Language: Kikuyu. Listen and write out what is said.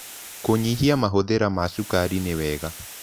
Kũnyĩhĩa mahũthĩra ma cũkarĩ nĩwega